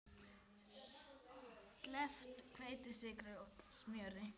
Sleppt hveiti, sykri, smjöri.